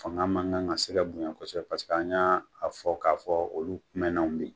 Fanga mankan kan ka se ka bonya kosɛbɛ paseke an y'a fɔ k'a fɔ olu kumɛnnaw me yen